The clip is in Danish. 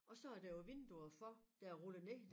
Og så er der jo vinduer for der er rullet ned